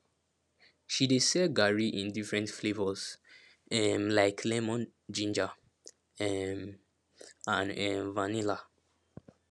she dey sell garri in different flavours um like lemon ginger um and um vanilla